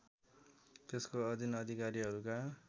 त्यसको अधिन अधिकारीहरूका